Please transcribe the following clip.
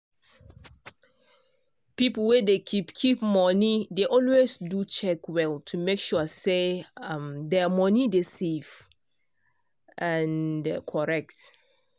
people wey dey keep keep money dey always do check well to make sure say um their money dey safe um and correct.